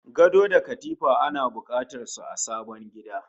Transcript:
Gado da katifa ana bukatar su a sabon gida